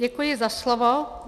Děkuji za slovo.